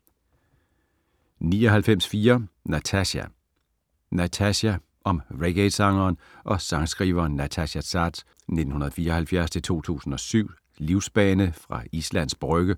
99.4 Natasja Natasja Om reggaesangeren og sangskriveren Natasja Saads (1974-2007) livsbane fra Islands Brygge